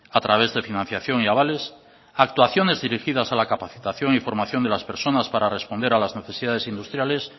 a través de financiación y avales actuaciones dirigidas a la capacitación y formación de las personas para responder a las necesidades industriales